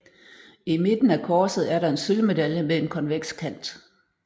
I midten af korset er der en sølvmedalje med en konveks kant